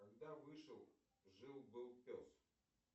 когда вышел жил был пес